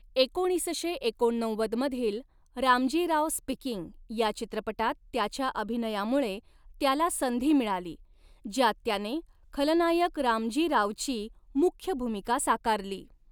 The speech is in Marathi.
एकोणीसशे एकोणनव्वद मधील रामजी राव स्पीकिंग या चित्रपटात त्याच्या अभिनयामुळे त्याला संधी मिळाली, ज्यात त्याने खलनायक रामजी रावची मुख्य भूमिका साकारली.